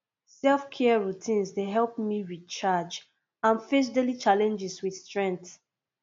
selfcare routines dey help me recharge and face daily challenges with strength